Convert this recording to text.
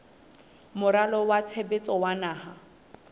moralo wa tshebetso wa naha